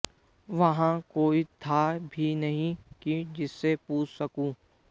वहां कोई था भी नहीं कि जिससे पूछ सकूं